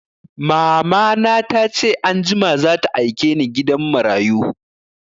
Mamana ta ce anjima za ta aike ni gidan marayu